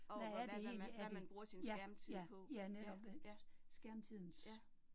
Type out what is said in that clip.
Hvad er det egentlig, er det, ja, ja, ja, netop, skærmtidens